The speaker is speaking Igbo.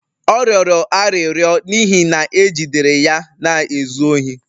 Ọ rịọrọ arịrịọ n'ihi na e jidere ya na-ezu ohi.